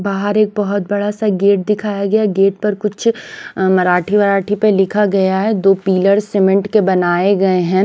बाहर एक बहुत बड़ा सा गेट दिखाया गया गेट पर कुछ मराठी मराठी पर लिखा गया है दो पिलर सीमेंट के बनाए गए हैं।